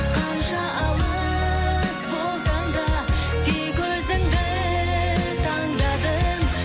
қанша алыс болсаң да тек өзіңді таңдадым